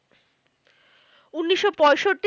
উনিশশো পঁয়ষট্টি